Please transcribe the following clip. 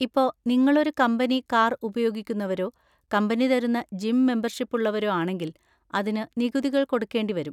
ഇപ്പൊ, നിങ്ങളൊരു company car ഉപയോഗിക്കുന്നവരോ കമ്പനി തരുന്ന ജിം മെമ്പർഷിപ്പ് ഉള്ളവരോ ആണെങ്കിൽ അതിന് നികുതികൾ കൊടുക്കേണ്ടി വരും.